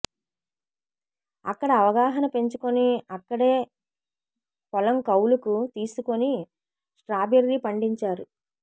అక్కడ అవగాహన పెంచుకుని అక్కడే పొలం కౌలుకు తీసుకుని స్ట్రాబెర్రీ పండించారు